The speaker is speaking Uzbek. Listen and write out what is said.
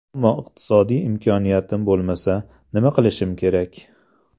Ammo iqtisodiy imkoniyatim bo‘lmasa, nima qilishim kerak?